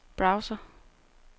browser